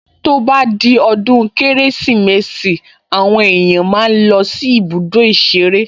To bá di ọdún Kérésìmesì àwọn èèyàn máa ń lọ sí ibùdó ìṣeré